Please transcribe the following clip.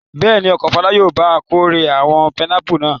Bẹ́ẹ̀ ni, ọkọ Fọlá yóò ba kórè àwọn pinápù náà.